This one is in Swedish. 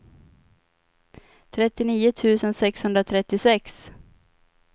trettionio tusen sexhundratrettiosex